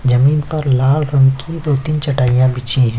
जमीन पर लाल रंग की दो- तीन चटाईयाँ बिछी हैं।